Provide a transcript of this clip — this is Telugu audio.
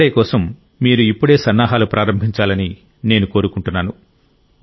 యోగా డే కోసం మీరు ఇప్పుడే సన్నాహాలు ప్రారంభించాలని నేను కోరుకుంటున్నాను